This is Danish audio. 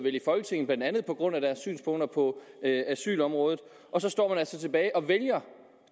i folketinget blandt andet på grund af deres synspunkter på asylområdet og så står man altså tilbage og vælger